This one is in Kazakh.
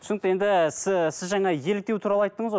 түсінікті енді сіз жаңа еліктеу туралы айттыңыз ғой